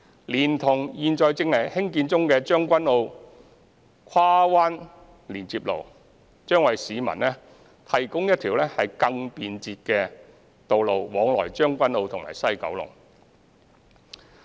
連同現正興建中的將軍澳跨灣連接路，將為市民提供一條更便捷的道路往來將軍澳及西九龍。